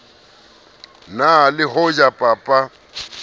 na le ho ja papa